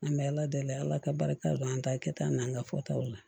An bɛ ala deli ala ka barika dɔn an ta kɛ ta an n'an ka fɔtaw la